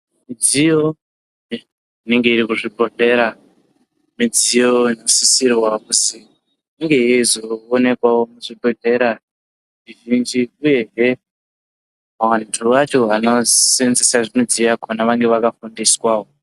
Midziyo unenge iri muzvibhohlera midziyo inosisirwa kuzi Inge yeizoonekwawo muzvibhedhlera zvizhinjbuyezve vantu vacho vanosenzesa vanenge vakafundiswawo.